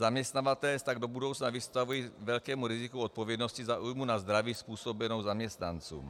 Zaměstnavatelé se tak do budoucna vystavují velkému riziku odpovědnosti za újmu na zdraví způsobenou zaměstnancům.